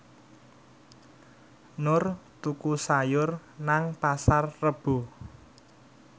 Nur tuku sayur nang Pasar Rebo